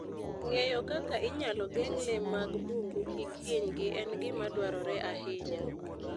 Ng'eyo kaka inyalo geng' le mag bungu kik hinygi en gima dwarore ahinya.